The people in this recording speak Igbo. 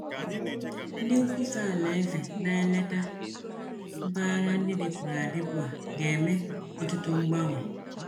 Ndị nkwusa alaeze na-eleta mpaghara ndị dịpụrụ adịpụ a ga-eme ọtụtụ mgbanwe.